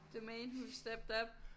The man who stepped up